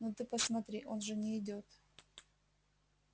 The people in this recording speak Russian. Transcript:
ну ты посмотри он же не идёт